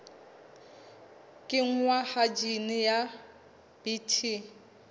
kenngwa ha jine ya bt